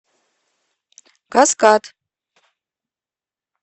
каскад